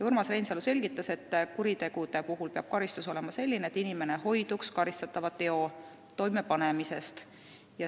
" Urmas Reinsalu selgitas, et kuriteo eest peab karistus olema selline, et inimene hoiduks karistatava teo toimepanemisest.